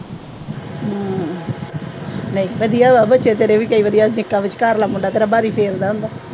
ਵਧੀਆ ਲੱਗਦਾ। ਵਿਚਕਾਰਲਾ ਮੁੰਡਾ ਕਈ ਵਾਰ ਵਾਰੀ ਫੇਰਦਾ ਹੁੰਦਾ।